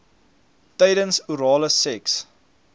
tydens orale seks